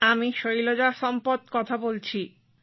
আমি শৈলজা সম্পত কথা বলছি